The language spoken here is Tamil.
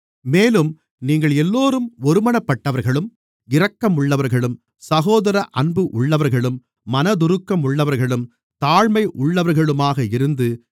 மேலும் நீங்களெல்லோரும் ஒருமனப்பட்டவர்களும் இரக்கம் உள்ளவர்களும் சகோதரஅன்பு உள்ளவர்களும் மனதுருக்கம் உள்ளவர்களும் தாழ்மை உள்ளவர்களுமாக இருந்து